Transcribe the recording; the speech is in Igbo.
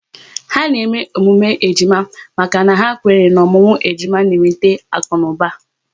Ha na-eme emume ejima maka na ha kwenyere n'ọmụmụ ejima n'eweta akunuba